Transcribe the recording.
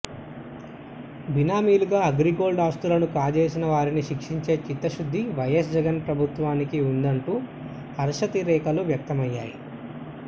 బినామీలుగా అగ్రిగోల్డ్ ఆస్తులను కాజేసిన వారిని శిక్షించే చిత్తశుద్ధి వైఎస్ జగన్ ప్రభుత్వానికి ఉందంటూ హర్షాతిరేకాలు వ్యక్తమయ్యాయి